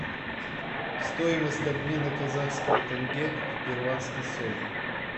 стоимость обмена казахского тенге в перуанский соль